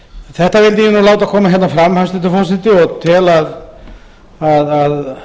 þetta vildi ég nú láta koma hérna fram hæstvirtur forseti og tel að